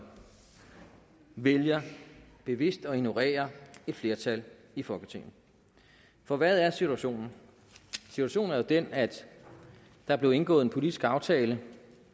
vælger bevidst at ignorere et flertal i folketinget for hvad er situationen situationen er jo den at der blev indgået en politisk aftale